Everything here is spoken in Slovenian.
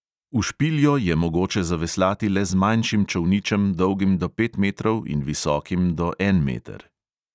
V špiljo je mogoče zaveslati le z manjšim čolničem, dolgim do pet metrov in visokim do en meter.